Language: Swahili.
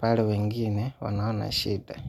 pale wengine wanaona shida.